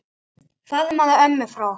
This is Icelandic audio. Faðmaðu ömmu frá okkur.